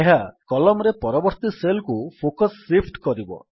ଏହା କଲମ୍ ରେ ପରବର୍ତ୍ତୀ ସେଲ୍ କୁ ଫୋକସ୍ ଶିଫ୍ଟ କରିବ